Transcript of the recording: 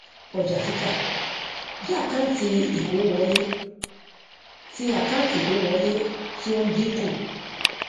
ọjàtítà jẹ àkáǹtì ìkówówọlé ti àkáǹtì ìkówówọlé ti ó ń dínkù